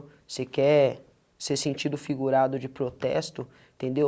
Você quer ser sentido figurado de protesto, entendeu?